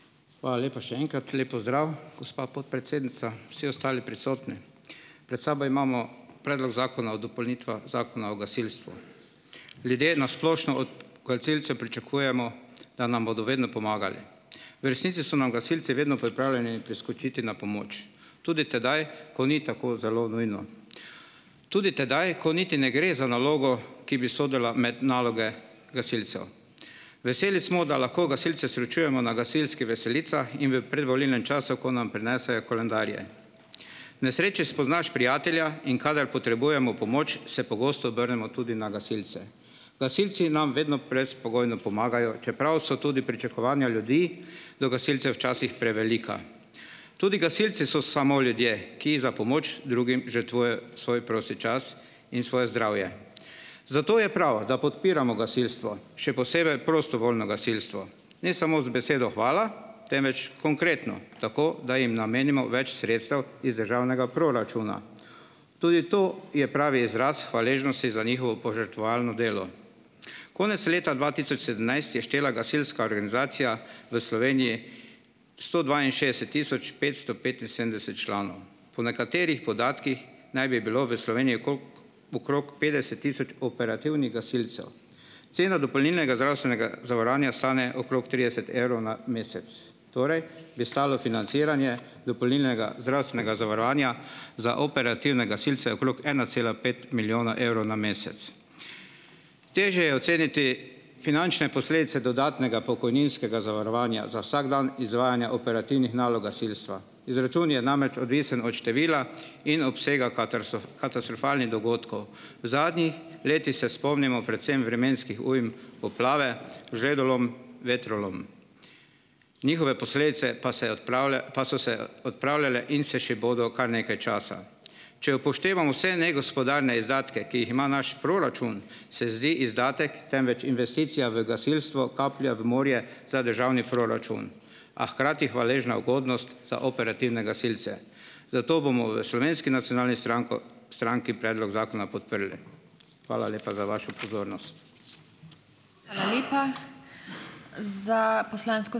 Hvala lepa še enkrat. Lep pozdrav gospa podpredsednica, vsi ostali prisotni! Pred sabo imamo Predlog zakona o dopolnitvah Zakona o gasilstvu. Ljudje na splošno od gasilcev pričakujemo, da nam bodo vedno pomagali. V resnici so nam gasilci vedno pripravljeni priskočiti na pomoč tudi tedaj, ko ni tako zelo nujno, tudi tedaj, ko niti ne gre za nalogo, ki bi sodila med naloge gasilcev. Veseli smo, da lahko gasilce srečujemo na veselicah in v predvolilnem času, ko nam prinesejo koledarje. V nesreči spoznaš prijatelja, in kadar potrebujemo pomoč, se pogosto obrnemo tudi na gasilce. Gasilci nam vedno brezpogojno pomagajo, čeprav so tudi pričakovanja ljudi do gasilcev včasih prevelika. Tudi gasilci so samo ljudje, ki za pomoč drugim žrtvujejo svoj prosti čas in svoje zdravje. Zato je prav, da podpiramo gasilstvo, še posebej prostovoljno gasilstvo, ne samo z besedo hvala, temveč konkretno - tako da jim namenimo več sredstev iz državnega proračuna. Tudi to je pravi izraz hvaležnosti za njihovo požrtvovalno delo. Konec leta dva tisoč sedemnajst je štela gasilska organizacija v Sloveniji sto dvainšestdeset tisoč petsto petinsedemdeset članov, po nekaterih podatkih naj bi bilo v Sloveniji okrog petdeset tisoč operativnih gasilcev. Cena dopolnilnega zdravstvenega zavarovanja stane okrog trideset evrov na mesec, torej bi stalo financiranje dopolnilnega zdravstvenega zavarovanja za operativne gasilce okrog ena cela pet milijona evrov na mesec. Težje je oceniti finančne posledice dodatnega pokojninskega zavarovanja za vsak dan izvajanja operativnih nalog gasilstva. Izračun je namreč odvisen od števila in obsega katastrofalnih dogodkov. V zadnjih letih se spomnimo predvsem vremenskih ujm, poplave, žledolom, vetrolom. Njihove posledice pa se pa so se odpravljale in se še bodo kar nekaj časa. Če upoštevamo vse negospodarne izdatke, ki jih ima naš proračun, se zdi izdatek, temveč investicija v gasilstvo kaplja v morje za državni proračun, a hkrati hvaležna ugodnost za operativne gasilce, zato bomo v Slovenski nacionalni stranki stranki predlog zakona podprli. Hvala lepa za vašo pozornost.